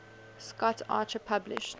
scott archer published